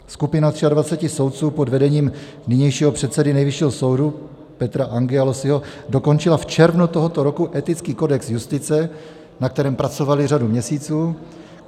Skupina 23 soudců pod vedením nynějšího předsedy Nejvyššího soudu Petra Angyalossyho dokončila v červnu tohoto roku etický kodex justice, na kterém pracovali řadu měsíců.